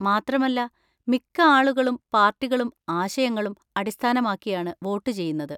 മാത്രമല്ല, മിക്ക ആളുകളും പാർട്ടികളും ആശയങ്ങളും അടിസ്ഥാനമാക്കിയാണ് വോട്ട് ചെയ്യുന്നത്.